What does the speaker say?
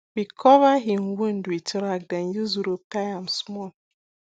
we cover hin wound with rag then use rope tie am small